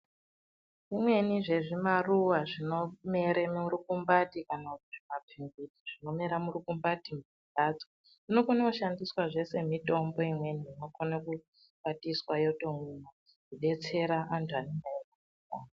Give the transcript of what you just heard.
Zvimweni zvezvimaruva zvinomere murukumbati kana kuti mapfinyu zvinomere murukumbati membatso zvinoona kushandiswa zvee sezvimitombo imweni inokone kukwatiswa yotoomwiwa kubetsera andu anenge weyirwara.